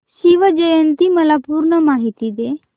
शिवजयंती ची मला पूर्ण माहिती दे